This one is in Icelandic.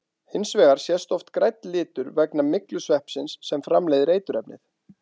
Hins vegar sést oft grænn litur vegna myglusveppsins sem framleiðir eiturefnið.